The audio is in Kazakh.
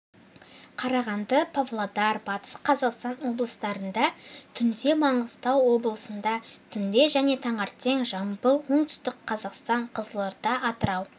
қарағанды павлодар батыс қазақстан облыстарында түнде маңғыстау облысында түнде және таңертең жамбыл оңтүстік қазақстан қызылорда атырау